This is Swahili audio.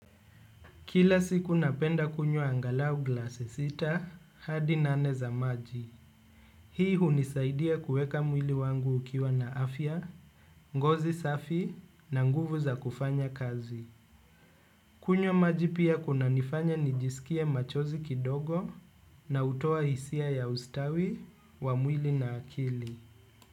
Kila siku napenda kunywa angalau glasi sita hadi nane za maji. Hii hunisaidia kueka mwili wangu ukiwa na afya, ngozi safi na nguvu za kufanya kazi. Kunyws maji pia kunanifanya nijisikie machozi kidogo na hutoa hisia ya ustawi wa mwili na akili.